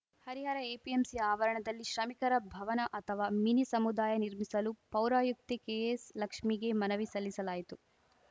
Harihara APMC ಆವರಣದಲ್ಲಿ ಶ್ರಮಿಕರ ಭವನ ಅಥವಾ ಮಿನಿ ಸಮುದಾಯ ನಿರ್ಮಿಸಲು ಪೌರಾಯುಕ್ತೆ ಕೆಎಸ್‌ಲಕ್ಷ್ಮೀಗೆ ಮನವಿ ಸಲ್ಲಿಸಲಾಯಿತು